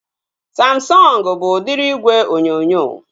Samsọngu bụ udiri igwe onyonyo